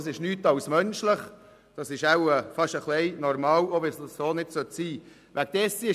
Das ist nichts anderes als menschlich, das ist schon fast normal, auch wenn es nicht so sein sollte.